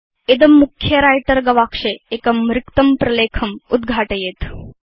इदं मुख्ये व्रिटर गवाक्षे एकं रिक्तं प्रलेखम् उद्घाटयेत्